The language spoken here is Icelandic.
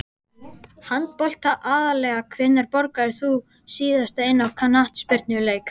Handbolta aðallega Hvenær borgaðir þú þig síðast inn á knattspyrnuleik?